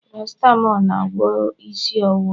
paracetamol na-agwọ isi ọwụwa